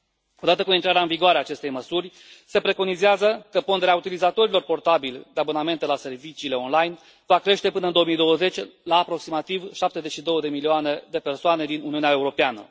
Odată cu intrarea în vigoare a acestei măsuri se preconizează că ponderea utilizatorilor portabili de abonamente la serviciile online va crește până în 2020 la aproximativ 72 de milioane de persoane din Uniunea Europeană.